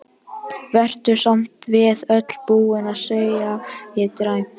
Vertu samt við öllu búin, segi ég dræmt.